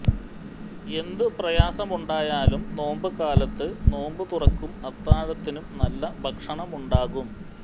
എന്തു പ്രയാസമുണ്ടായാലും നോമ്പ് കാലത്ത് നോമ്പുതുറക്കും അത്താഴത്തിനും നല്ല ഭക്ഷണമുണ്ടാകും